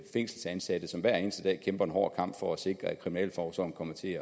fængselsansatte som hver eneste dag kæmper en hård kamp for at sikre at kriminalforsorgen kommer til